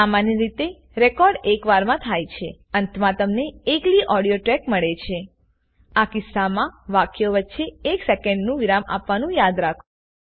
સામાન્યરીતેરેકોર્ડ એક વારમાં થાય છે અંતમાં તમને એકલી ઓડીઓ ટેક મળે છેઆ કિસ્સામાં વાક્યો વચ્ચે એક સેકેંડનું વિરામ આપવાનું યાદ રાખો